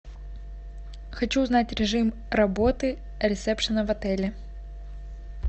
хочу узнать режим работы ресепшена в отеле